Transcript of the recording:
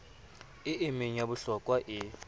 e meng ya bohlokwa e